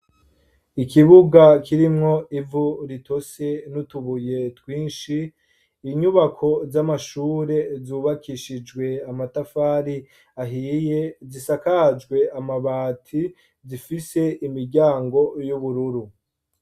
Ikibuga kirimwo ivu ritose n'utubuye twinshi. Inyubako z'amashure zubakishijwe n'amatafari ahiye, zisakaje amabati, zifise imiryango isa n'ubururu.